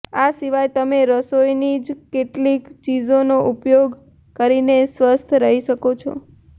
આ સિવાય તમે રસોઈની જ કેટલીક ચીજોનો ઉપયોગ કરીને સ્વસ્થ રહી શકો છો